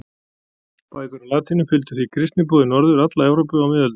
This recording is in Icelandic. Bækur á latínu fylgdu því kristniboði norður alla Evrópu á miðöldum.